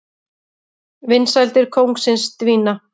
Vinsældir kóngsins dvína